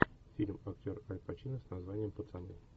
фильм актер аль пачино с названием пацаны